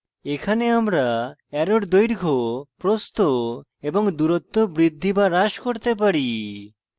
এখানে আমরা অ্যারোর দৈর্ঘ্য প্রস্থ এবং দূরত্ব বৃদ্ধি বা হ্রাস করতে পারি